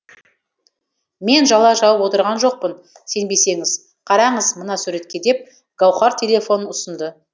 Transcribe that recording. мен жала жауып отырған жоқпын сенбесеңіз қараңыз мына суретке деп гауһар телефонын ұсынды